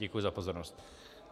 Děkuji za pozornost.